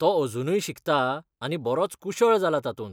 तो अजुनूय शिकता आनी बरोच कुशळ जाला तातूंत.